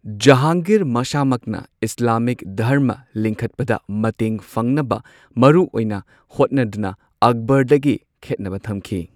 ꯖꯍꯥꯟꯒꯤꯔ ꯃꯁꯥꯃꯛꯅ ꯏꯁꯂꯥꯃꯤꯛ ꯙꯔꯃ ꯂꯤꯡꯈꯠꯄꯗ ꯃꯇꯦꯡ ꯐꯪꯅꯕ ꯃꯔꯨꯑꯣꯏꯅ ꯍꯣꯠꯅꯗꯨꯅ ꯑꯛꯕꯔꯗꯒꯤ ꯈꯦꯠꯅꯕ ꯊꯝꯈꯤ꯫